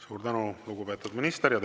Suur tänu, lugupeetud minister!